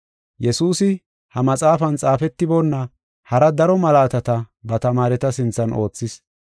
Yesuusi ha maxaafan xaafetiboonna hara daro malaatata ba tamaareta sinthan oothis.